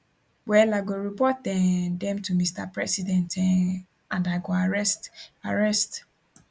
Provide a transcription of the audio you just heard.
well i go report um dem to mr president um and i go arrest arrest